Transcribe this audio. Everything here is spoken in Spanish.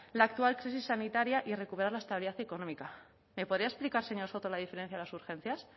la actual crisis sanitaria y recuperar la estabilidad económica me podría explicar señor soto la diferencia de las urgencias